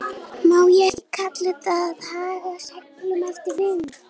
Má ekki kalla þetta að haga seglum eftir vindi?